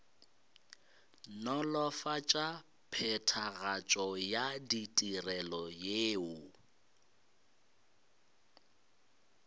nolofatša phethagatšo ya ditirelo yeo